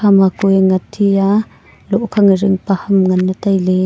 ama ku a net he a loh nekhe zingpa ham ngan le tailey.